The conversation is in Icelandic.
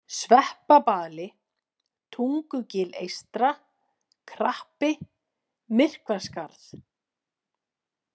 Sveppabali, Tungugil eystra, Krappi, Myrkvaskarð